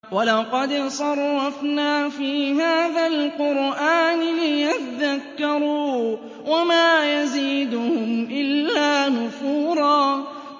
وَلَقَدْ صَرَّفْنَا فِي هَٰذَا الْقُرْآنِ لِيَذَّكَّرُوا وَمَا يَزِيدُهُمْ إِلَّا نُفُورًا